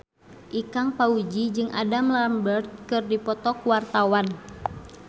Ikang Fawzi jeung Adam Lambert keur dipoto ku wartawan